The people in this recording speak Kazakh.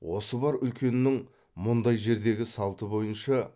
осы бар үлкеннің мұндай жердегі салты бойынша